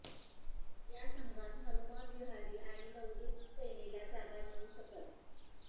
या संघात हनुमा विहारी आणि नवदीप सैनीला जागा मिळू शकतं